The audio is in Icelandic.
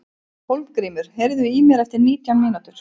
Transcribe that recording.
Hólmgrímur, heyrðu í mér eftir nítján mínútur.